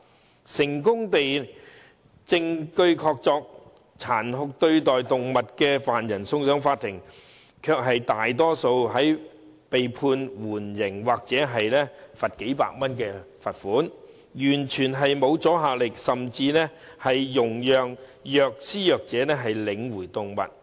即使違法者虐待動物證據確鑿，成功被送上法庭，最終卻多數被判緩刑或罰款數百元，完全沒有阻嚇力，甚至獲准領回動物。